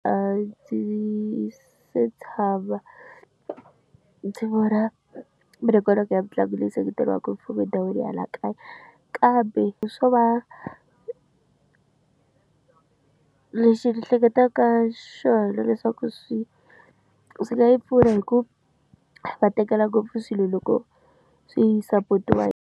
A ndzi se tshama ndzi vona minongonoko ya mitlangu leyi seketeriweka hi mfumo endhawini ya laha kaya kambe swo va lexi ni hleketaka xona leswaku swi swi nga yi pfuna hi ku va tekela ngopfu swilo loko swi support-wa.